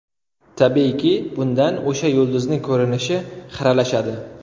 Tabiiyki, bundan o‘sha yulduzning ko‘rinishi xiralashadi.